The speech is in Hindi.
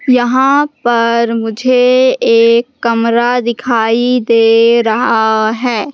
यहां पर मुझे एक कमरा दिखाई दे रहा है।